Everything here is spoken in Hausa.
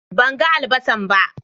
Ban gan albasan ba.